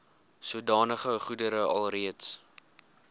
sodanige goedere alreeds